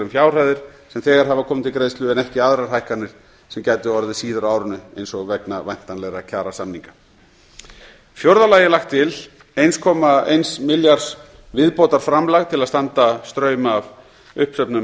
um fjárhæðir sem þegar hafa komið til greiðslu en ekki aðrar hækkanir sem gætu orðið síðar á árinu eins og vegna væntanlegra kjarasamninga í fjórða lagi er lagt til eins komma eins milljarðs viðbótarframlag til að standa straum af uppsöfnuðum